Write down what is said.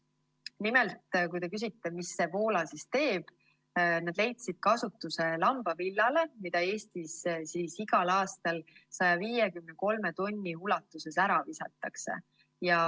Nimelt, kui te küsite, mida see Woola siis teeb: nad leidsid kasutuse lambavillale, mida Eestis igal aastal 153 tonni ära visatakse.